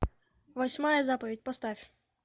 восьмая заповедь поставь